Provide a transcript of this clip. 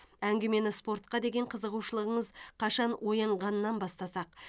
әңгімені спортқа деген қызығушылығыңыз қашан оянғанынан бастасақ